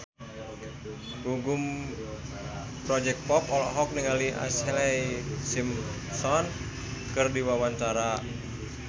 Gugum Project Pop olohok ningali Ashlee Simpson keur diwawancara